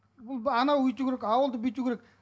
бұл анау өйту керек ауылды бүйту керек